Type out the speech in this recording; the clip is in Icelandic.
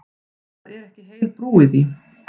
Það er ekki heil brú í því.